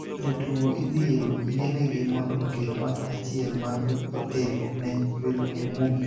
jotugo ibiro yienegi mondo oket ot achiel mar otel ne welo mobiro,